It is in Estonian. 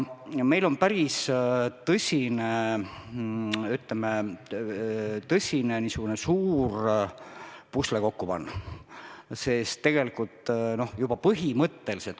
Meil on päris tõsine, ütleme, pusle kokku panna.